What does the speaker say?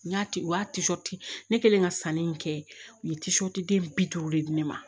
N y'a ne kɛlen ka sanni in kɛ u ye den bi duuru de di ne ma